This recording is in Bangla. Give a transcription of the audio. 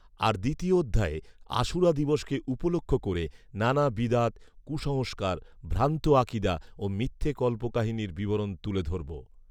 আর দ্বিতীয় অধ্যায়ে আশুরা দিবসকে উপলক্ষ করে নানা বিদআত, কুসংস্কার, ভ্রান্ত আকিদা ও মিথ্যা কল্পকাহিনীর বিবরণ তুলে ধরব